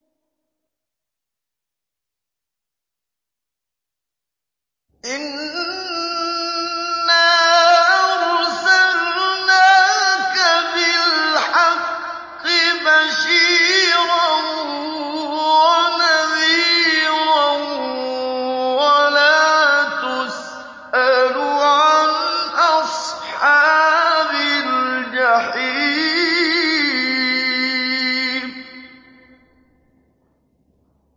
إِنَّا أَرْسَلْنَاكَ بِالْحَقِّ بَشِيرًا وَنَذِيرًا ۖ وَلَا تُسْأَلُ عَنْ أَصْحَابِ الْجَحِيمِ